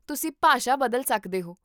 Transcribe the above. ਤੁਸੀਂ ਭਾਸ਼ਾ ਬਦਲ ਸਕਦੇ ਹੋ